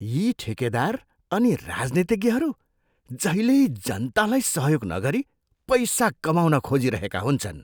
यी ठेकेदार अनि राजनीतिज्ञहरू जहिल्यै जनतालाई सहयोग नगरी पैसा कमाउन खोजिरहेका हुन्छन्।